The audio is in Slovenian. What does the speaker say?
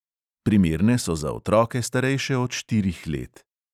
Primerne so za otroke, starejše od štirih let.